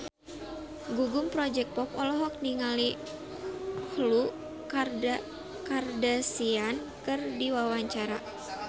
Gugum Project Pop olohok ningali Khloe Kardashian keur diwawancara